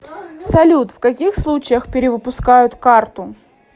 салют в каких случаях перевыпускают карту